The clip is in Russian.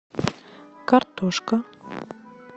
картошка